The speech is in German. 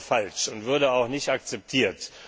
Das wäre falsch und würde auch nicht akzeptiert!